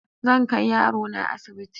Zan kai yarona asibiti.